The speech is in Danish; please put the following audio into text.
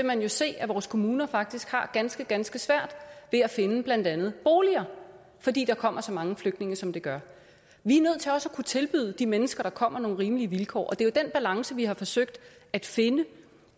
man jo se at vores kommuner faktisk har ganske ganske svært ved at finde blandt andet boliger fordi der kommer så mange flygtninge som der gør vi er nødt til også at kunne tilbyde de mennesker der kommer nogle rimelige vilkår og det er den balance vi har forsøgt at finde